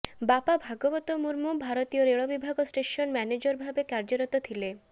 ବାପା ଭାଗବତ ମୁର୍ମୁ ଭାରତୀୟ ରେଳବିଭାଗର ଷ୍ଟେସନ ମ୍ୟାନେଜରଭାବେ କାର୍ୟ୍ୟରତ ଥିଲେ